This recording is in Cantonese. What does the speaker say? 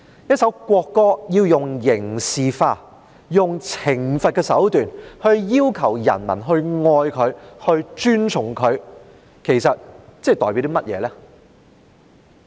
一首國歌要用刑事化，用懲罰的手段要求人民愛它、尊崇它，其實這代表甚麼？